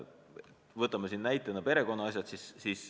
Võtame näitena perekonnaasjad.